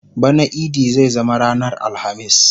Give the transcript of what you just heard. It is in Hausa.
bana idi zai zama ranar alhamis